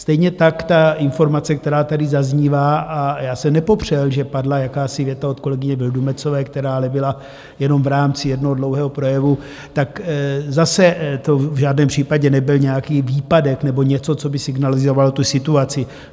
Stejně tak ta informace, která tady zaznívá, a já jsem nepopřel, že padla jakási věta od kolegyně Vildumetzové, která ale byla jenom v rámci jednoho dlouhého projevu, tak zase to v žádném případě nebyl nějaký výpadek nebo něco, co by signalizovalo tu situaci.